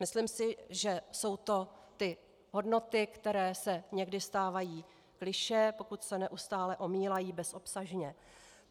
Myslím si, že jsou to ty hodnoty, které se někdy stávají klišé, pokud se neustále omílají bezobsažně.